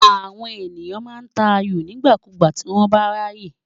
Àwọn ènìyàn máa ń ta ayò nígbàkúùgbà tí wọ́n bá ráyè.